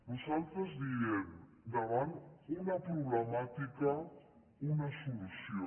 nosaltres diem davant una problemàtica una solució